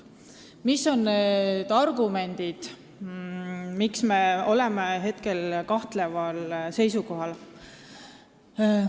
Mis on need argumendid, miks me oleme hetkel kahtleval seisukohal?